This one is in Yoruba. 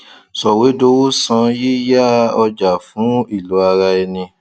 ṣòwédowó san yíyá ọjà fún ìlò ara ẹni